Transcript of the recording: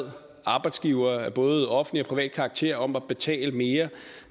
bad arbejdsgivere af både offentlig og privat karakter om at betale mere